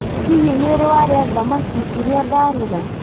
Hihi nĩ ũrĩ warĩa thamaki iria ndaruga?